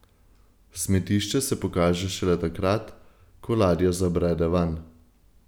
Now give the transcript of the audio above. Smetišče se pokaže šele takrat, ko ladja zabrede vanj.